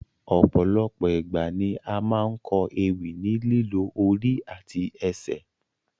Ọ̀pọ̀lọpọ̀ igba ni a máa n kọ ewì ni lílò ori àti ẹsẹ